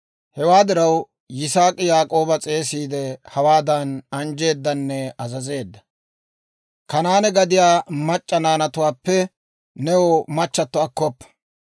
Hewaa diraw, Yisaak'i Yaak'ooba s'eesiide hawaadan anjjeedanne azazeedda; «Kanaane gadiyaa mac'c'a naanatuwaappe new machchatto akkoppa.